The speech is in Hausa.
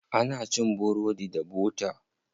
Ana cin burodi da bota.